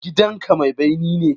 Gidanka mai bene ne?